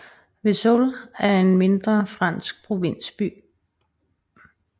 Vesoul er en mindre fransk provinsby